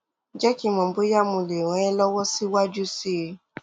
jé kí n mọ bóyá mo lè ràn é lọwọ síwájú sí i